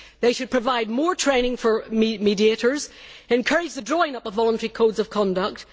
They should provide more training for mediators and encourage the drawing up of voluntary codes of conduct.